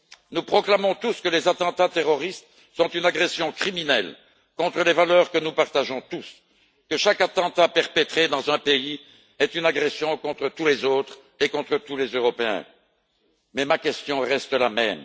Nous proclamons tous que les attentats terroristes sont une agression criminelle contre les valeurs que nous partageons tous, que chaque attentat perpétré dans un pays est une agression dirigée contre tous les autres et contre tous les Européens, mais ma question reste la même.